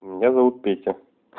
меня зовут петя